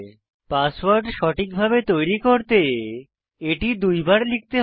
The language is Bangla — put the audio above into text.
পাসওয়ার্ড সঠিকভাবে তৈরী করতে এটি দুইবার লিখতে হবে